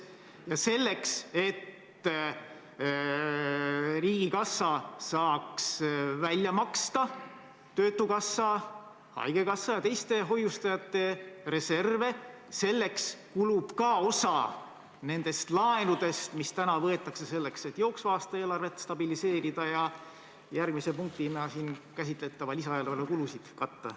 Ja selleks, et riigikassa saaks välja maksta töötukassa, haigekassa ja teiste hoiustajate reserve, kulub samuti osa nendest laenudest, mis täna võetakse, et jooksva aasta eelarvet stabiliseerida ja järgmise punktina käsitletava lisaeelarve kulusid katta.